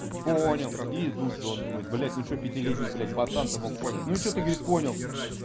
понял и идут же он думает блять ну что пятилетний блять пацан то помог понять ну и что ты говорит понял